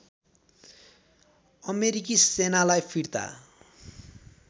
अमेरिकी सेनालाई फिर्ता